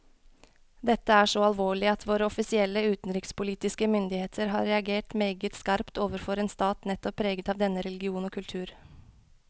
Dette er så alvorlig at våre offisielle utenrikspolitiske myndigheter har reagert meget skarpt overfor en stat nettopp preget av denne religion og kultur.